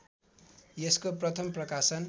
यसको प्रथम प्रकाशन